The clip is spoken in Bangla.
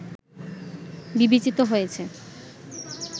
বিবেচিত হয়েছে